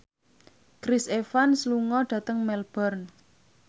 Chris Evans lunga dhateng Melbourne